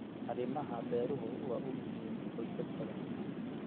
Arrimaha beeruhu waa u muhiim qoysas badan.